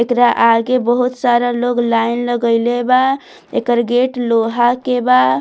एकरा आगे बहुत सारा लोग लाइन लगैले बा एकर गेट लोहा के बा।